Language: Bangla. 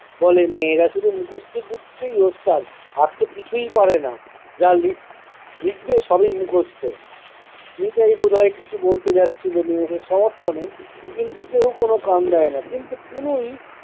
বলে- মেয়েরা শুধু মুখস্ত বিদ্যেই ওস্তাদ, আর তো কিছুই পারে না। যা লিখ~ লিখবে সবই মুখস্ত। নিতাই বোধয় কিছু বলতে যাচ্ছিলো মেয়েদের সমর্থনে কিন্তু কেউ কোন কান দেয় না কিন্তু কুনি